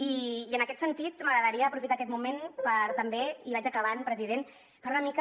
i en aquest sentit m’agradaria aprofitar aquest moment per també i vaig acabant president per una mica